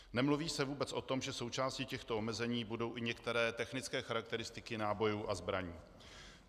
Nemluví se vůbec o tom, že součástí těchto omezení budou i některé technické charakteristiky nábojů a zbraní.